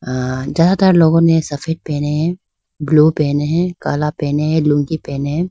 हां ज्यादातर लोगों ने सफेद पहने हैं ब्लू पहने है काला पहने हैं लुंगी पहने हैं।